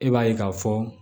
E b'a ye k'a fɔ